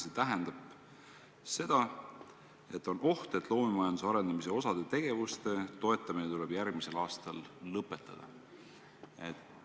See tähendab seda, et on oht, et osa loomemajanduse arendamise tegevuste toetamine tuleb järgmisel aastal lõpetada.